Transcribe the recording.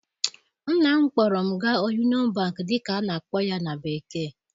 Nna m kpọọrọ m gaa Union Bank dịka a na-akpọ ya na bekee